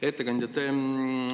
Hea ettekandja!